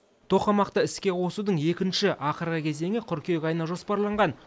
тоқамақты іске қосудың екінші ақырғы кезеңі қыркүйек айына жоспарланған